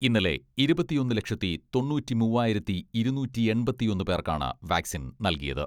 ഇന്നലെ ഇരുപത്തിയൊന്ന് ലക്ഷത്തി തൊണ്ണൂറ്റിമൂവായിരത്തി ഇരുന്നൂറ്റിയെൺപത്തിയൊന്ന് പേർക്കാണ് വാക്സിൻ നൽകിയത്.